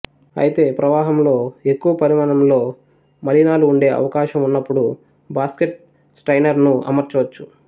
అయితే ప్రవాహంలో ఎక్కువ పరిమాణంలో మలినాలు ఉండే అవకాశం వున్నప్పుడు బాస్కెట్ స్ట్రయినరును అమర్చవచ్చు